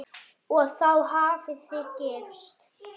Og þá hafið þið gifst?